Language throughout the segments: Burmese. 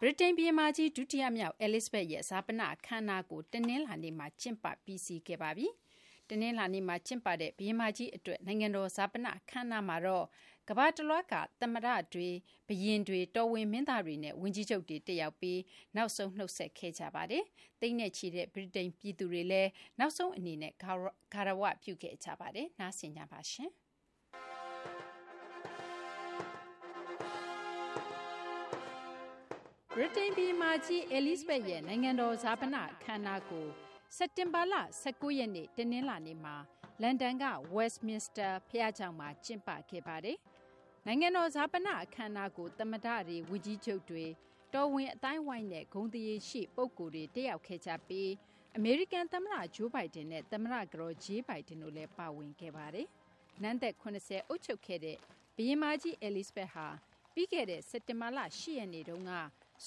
ဗြိတိန် ဘုရင်မကြီး ဒုတိယမြောက် Elizabeth ရဲ့ ဈာပန အခမ်းအနားကို တနလာၤနေ့မှာ ကျင်းပ ပြီးစီးခဲ့ပါပြီ။ တနလာၤနေ့မှာ ကျင်းပတဲ့ ဘုရင်မကြီး အတွက် နိုင်ငံတော် ဈာပန အခမ်းအနားမှာတော့ ကမ ္ဘာတလွှားက သမ္မတတွေ နဲ့ ဘုရင်တွေ၊ တော်ဝင် မင်းသားတွေနဲ့ ဝန်ကြီးချုပ်တွေ တက်ရောက်ပြီး နောက်ဆုံး နုတ်ဆက်ခဲ့ကြပါတယ်။ သိန်းနဲ့ချီတဲ့ ဗြိတိန် ပြည်သူတွေလည်း နောက်ဆုံး အနေနဲ့ ဂါရဝပြု ခဲ့ကြပါတယ်။ မသိင်္ဂ ီထိုက် စုစည်းတင်ပြပေးပါမယ်။ ဗြိတိန် ဘုရင်မကြီး Elizabeth ရဲ့ နိုင်ငံတော် ဈာပန အခမ်းအနားကို စက်တင်ဘာလ ၁၉ ရက်နေ့ တနလာၤနေ့မှာ လန်ဒန်က Westminster ဘုရားကျောင်းမှာ ကျင်းပခဲ့ပါတယ်။ နိုင်ငံတော် ဈာပန အခမ်းအနားကို သမ္မတတွေ၊ ဝန်ကြီးချုပ်တွေ၊ တော်ဝင် အသိုင်းအဝိုင်းနဲ့ ဂုဏ်သရေရှိ ပုဂ္ဂိုလ်တွေ တက်ရောက်ခဲ့ကြပြီး အမေရိကန် သမ္မတ Joe Biden နဲ့ သမ္မတ ကတော် Jill Biden တို့လည်း ပါဝင်ခဲ့ပါတယ်။ နန်းသက် ၇၀ အုပ်ချုပ်ခဲ့တဲ့ ဘုရင်မကြီး Elizabeth ဟာ ပြီးခဲ့တဲ့ စက်တင်ဘာလ ၈ ရက်နေ့တုန်းက စ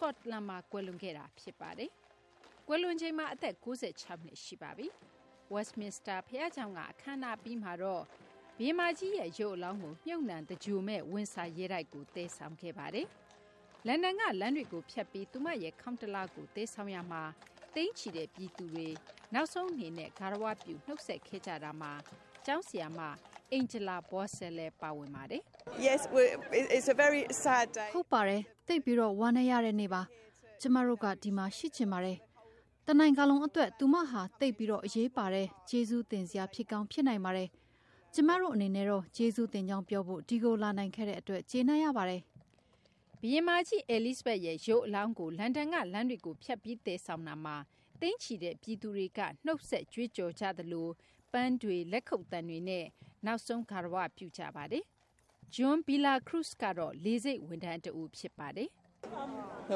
ကော့တလန်မှာ ကွယ်လွန်ခဲ့တာ ဖြစ်ပါတယ်။ ကွယ်လွန်ချိန်မှာ အသက် ၉၆ နှစ် ရှိပါပြီ။ Westminster ဘုရားကျောင်းက အခမ်းအနား အပြီးမှာတော့ ဘုရင်မကြီးရဲ့ရုပ်အလောင်းကို မြှုပ်နှံသင်္ဂြိုဟ်မယ့် ဝင်ဆာ ရဲတိုက်ကို သယ်ဆောင်ခဲ့ပါတယ်။ လန်ဒန်က လမ်းတွေကို ဖြတ်ပြီး သူမရဲ့ ခေါင်းတလားကို သယ်ဆောင်ရာမှာလည်း သိန်းချီတဲ့ ပြည်သူတွေ နောက်ဆုံး အနေနဲ့ ဂါရဝပြု နုတ်ဆက်ခဲ့ကြတာမှာ ကျောင်းဆရာမ Angla Vocese လည်းပါဝင်ပါတယ်။ " ဟုတ်ပါတယ်။ သိပ်ပြီး ဝမ်းနည်းရတဲ့ နေ့ပါ။ ကျမတို့က ဒီမှာ ရှိချင်ပါတယ်။ တနိုင်ငံလုံး အတွက် သူမဟာ သိပ်ပြီး အရေးပါတဲ့ ကျေးဇူးတင်စရာ ဖြစ်ကောင်း ဖြစ်နိုင်ပါတယ်။ ကျမတို့ အနေနဲ့တော့ ကျေးဇူးတင်ကြောင်း ပြောဖို့ ဒီကို လာနိုင်ခဲ့တဲ့ အတွက် ကျေနပ်ရပါတယ်" ဘုရင်မကြီး Elizabeth ရဲ့ ရုပ်အလောင်းကို လန်ဒန်က လမ်းတွေကို ဖြတ်ပြီး သယ်ဆောင်ရာမှာတော့ သိန်းချီတဲ့ ပြည်သူတွေက နုတ်ဆက်ကြွေးကြော် ကြသလို ပန်းတွေ၊ လက်ခုပ်သံတွေနဲ့ နောက်ဆုံး ဂါရ၀ ပြု နုတ်ဆက်ခဲ့ကြတာပါ။ JOHN VILLACRUZES ကတော့ လေဆိပ် ဝန်ထမ်းတဦး ဖြစ်ပါတယ်။ " ဝ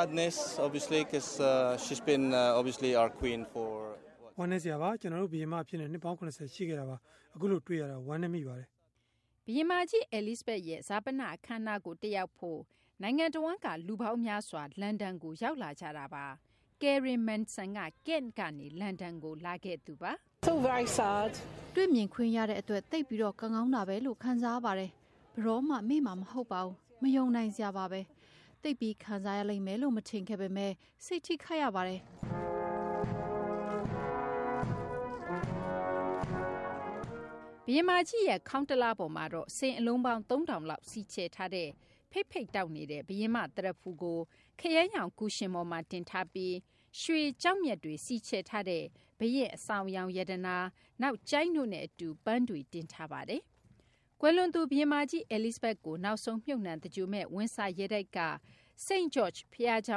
မ်းနည်းစရာပါ။ သူမဟာ ကျနော်တို့ ဘုရင်မ အဖြစ် နှစ်ပေါင်း ၇၀ ရှိခဲ့တာပါ။ အခုလို တွေ့ရတာ ဝမ်းနည်းရပါတယ် " ဘုရင်မကြီး Elizabeth ရဲ့ ဈာပန အခမ်းအနားကို တက်ရောက်ဖို့ နိုင်ငံတဝှမ်းက လူပေါင်းများစွာ လန်ဒန်ကို ရောက်လာကြတာပါ။ Karen Manson ကတော့ Kent ကနေ လန်ဒန်ကို လာခဲ့သူပါ။ " တွေ့မြင်ခွင့်ရတဲ့အတွက် သိပ်ပြီး ကံကောင်းတာဘဲလို့ ခံစားရပါတယ်။ ဘယ်တော့မှ မေ့မှာ မဟုတ်ပါဘူး။ မယုံနိုင်စရာပါဘဲ။ သိပ်ပြီး ခံစားရလိမ့်မယ်လို့ မထင်ခဲ့ပေမယ့် စိတ်ထိခိုက်ရပါတယ်" ဘုရင်မကြီးရဲ့ ခေါင်းတလားပေါ်မှာတော့ စိန်အလုံးပေါင်း ၃၀၀၀ လောက် စီချယ်ထားတဲ့ ဖိတ်ဖိတ်တောက်နေတဲ့ ဘုရင်မ သရဖူကို ခရမ်းရောင် ကူရှင်ပေါ်မှာ တင်ထားပြီး ရွှေ ကျောက်မျက်တွေ စီချယ်ထားတဲ့ ဘုရင့် အဆောင်အယောင် ရတနာ၊ နောက် ကျိုင်းတို့နဲ့ အတူ ပန်းတွေ တင်ဆောင်ထားပါတယ်။ ကွယ်လွန်သူ ဘုရင်မကြီး Elizabeth ကို နောက်ဆုံး မြှပ်နှံ သင်္ဂြိုဟ်မယ့် ဝင်ဆာရဲတိုက်က St. George ဘုရားကျော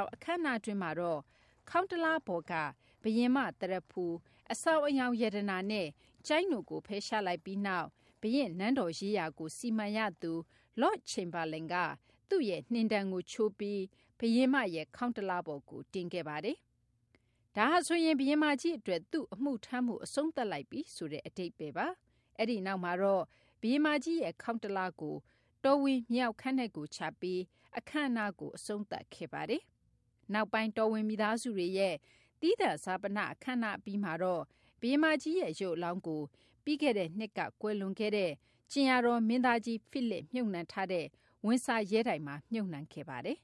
င်း အခမ်းအနားတွင်းမှာတော့ ခေါင်းတလားပေါ်က ဘုရင်မ သရဖူ၊ အဆောင်အယောင် ရတနာနဲ့ ကျိုင်းတို့ကို ဖယ်ရှားလိုက်ပြီး နောက် ဘုရင့်နန်းတော်ရေးရာကို စီမံရသူ Lord Chamberlain က သူ့ရဲ့ နှင်တံကို ချိုးပြီး ဘုရင်မကြီးရဲ့ ခေါင်းတလားပေါ်ကို တင်ခဲ့ပါတယ်။ ဒါဟာဆိုရင် ဘုရင်မကြီး အတွက် သူ့အမှုထမ်းမှု အဆုံးသတ်လိုက်ပြီ ဆိုတဲ့ အဓိပ္ပါယ်ပါ။ အဲဒီနောက်မှာတော့ ဘုရင်မကြီးရဲ့ ခေါင်းတလားကို တော်ဝင် မြေအောက်ခန်းထဲကို ချပြီး အခမ်းအနားကို အဆုံးသတ်ခဲ့ပါတယ်။ နောက်ပိုင်း တော်ဝင်မိသားစုဝင်တွေရဲ့ သီးသန့် ဈာပန အခမ်းအနားအပြီးမှာတော့ ဘုရင်မကြီး ရုပ်အလောင်းကို ပြီးခဲ့တဲ့နှစ်က ကွယ်လွန်သွားတဲ့ ကြင်ယာတော် မင်းသားကြီးဖိလစ် မြှုပ်နှံထားတဲ့ ဝင်ဆာရဲတိုက်မှာ မြှုပ်နှံခဲ့ပါတယ်။